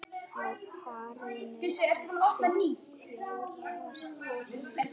Á parinu eftir fjórar holur.